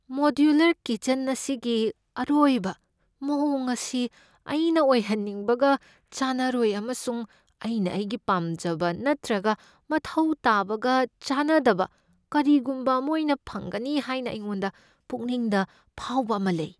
Modular kitchen ꯑꯁꯤꯒꯤ ꯑꯔꯣꯏꯕ ꯃꯑꯣꯡ ꯑꯁꯤ ꯑꯩꯅ ꯑꯣꯏꯍꯟꯅꯤꯡꯕꯒ ꯆꯥꯟꯅꯔꯣꯏ ꯑꯃꯁꯨꯡ ꯑꯩꯅ ꯑꯩꯒꯤ ꯄꯥꯝꯖꯕ ꯅꯠꯇ꯭ꯔꯒ ꯃꯊꯧ ꯇꯥꯕꯒ ꯆꯥꯟꯅꯗꯕ ꯀꯔꯤꯒꯨꯝꯕ ꯑꯃ ꯑꯣꯏꯅ ꯐꯪꯒꯅꯤ ꯍꯥꯏꯅ ꯑꯩꯉꯣꯟꯗ ꯄꯨꯛꯅꯤꯡꯗ ꯐꯥꯎꯕ ꯑꯃ ꯂꯩ꯫